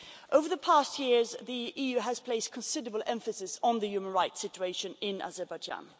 Over the past years the EU has placed considerable emphasis on the human rights situation in Azerbaijan.